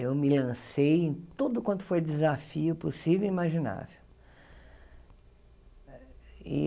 Eu me lancei em tudo quanto foi desafio possível e imaginável.